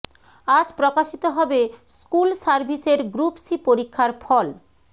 আজ প্রকাশিত হবে স্কুল সার্ভিসের গ্রুপ সি পরীক্ষার ফল